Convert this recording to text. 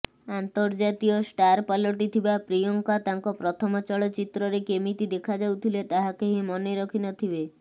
ଆନ୍ତର୍ଜାତୀୟ ଷ୍ଟାର ପାଲଟିଥିବା ପ୍ରିୟଙ୍କା ତାଙ୍କ ପ୍ରଥମ ଚଳଚ୍ଚିତ୍ରରେ କେମିତି ଦେଖାଯାଉଥିଲେ ତାହା କେହି ମନେ ରଖିନଥିବେ